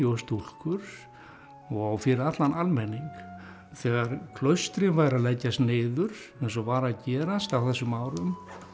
stúlkur og fyrir allan almenning þegar klaustrin væru að leggjast niður sem var að gerast á þessum árum